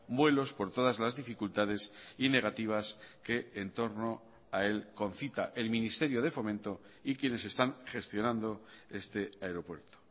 vuelos por todas las dificultades y negativas que en torno a él concita el ministerio de fomento y quienes están gestionando este aeropuerto